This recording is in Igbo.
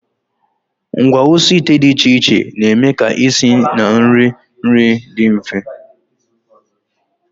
Ngwaosiite dị iche iche na-eme ka isi na iri nri dị mfe